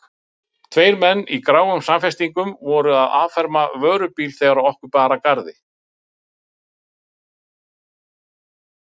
Tveir menn í gráum samfestingum voru að afferma vörubíl þegar okkur bar að.